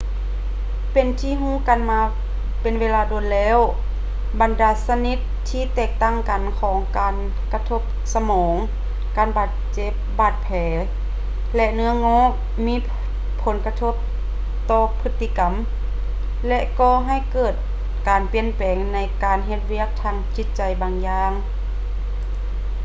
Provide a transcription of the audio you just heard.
ເປັນທີ່ຮູ້ກັນມາເປັນເວລານານວ່າ ບັນດາຊະນິດທີ່ແຕກຕ່າງກັນຂອງການກະທົບສະໝອງ ການບາດເຈັບ ບາດແຜ ແລະ ເນື້ອງອກ ມີຜົນກະທົບຕໍ່ພຶດຕິກຳ ແລະ ກໍ່ໃຫ້ເກີດການປ່ຽນແປງໃນການເຮັດວຽກທາງຈິດໃຈບາງຢ່າງ